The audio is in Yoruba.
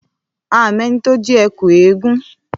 À mẹ ni tọ ji ẹkú ẹgún.